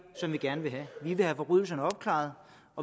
som vi gerne vil have vi vil have forbrydelserne opklaret